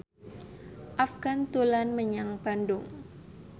Afgan dolan menyang Bandung